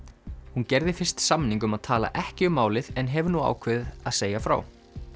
hún gerði fyrst samning um að tala ekki um málið en hefur nú ákveðið að segja frá